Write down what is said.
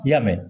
I y'a mɛn